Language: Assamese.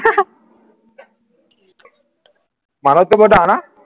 মানুহটোতকৈ ডাঙৰ না